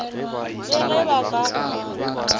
le ge ba ka go